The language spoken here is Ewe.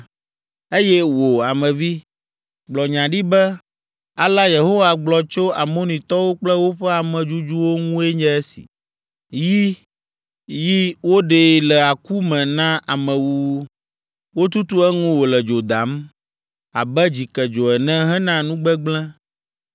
“Eye wò, Ame vi, gblɔ nya ɖi be, ‘Alea Yehowa gblɔ tso Amonitɔwo kple woƒe amedzudzuwo ŋue nye esi: “ ‘Yi, yi, woɖee le aku me na amewuwu, wotutu eŋu wòle dzo dam abe dzikedzo ene hena nugbegblẽ.